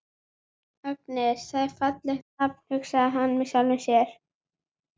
Agnes, það er fallegt nafn, hugsar hann með sjálfum sér.